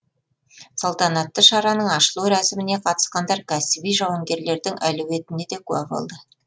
салтанатты шараның ашылу рәсіміне қатысқандар кәсіби жауынгерлердің әлеуетіне де куә болды